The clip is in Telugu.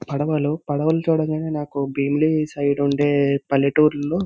పడవలు పడవలు చూడంగానే నాకు భీమిలి సైడ్ వుండే పల్లెటూర్లో --